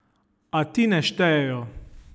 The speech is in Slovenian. A ti ne štejejo!